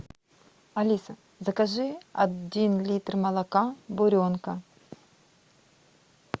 алиса закажи один литр молока буренка